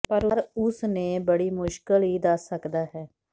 ਪਰ ਉਸ ਨੇ ਬੜੀ ਮੁਸ਼ਕਲ ੲ ਦੱਸ ਸਕਦਾ ਹੈ